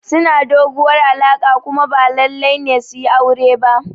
Suna doguwar alaƙa kuma ba lallai ne su yi aure ba.